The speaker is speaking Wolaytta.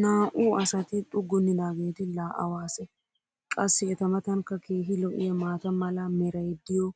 Naa"u"u asati xuggunidaageeti laa awa asee? Qassi eta matankka keehi lo'iyaa maata mala meray diyo